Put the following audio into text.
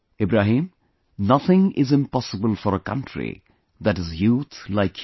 Ibrahim, nothing is impossible for a country that has youth like you